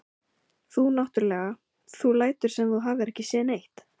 Þú náttúrlega. þú lætur sem þú hafir ekki séð neitt!